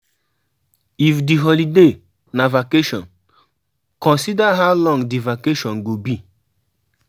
If di holiday na vacation, consider how long di vacation go be